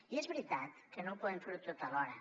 i és veritat que no ho podem fer tot alhora